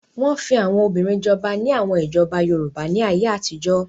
Wọ́n fi àwọn obìnrin jọba ní àwọn ìjọba Yorùbá ní ayé àtijọ́.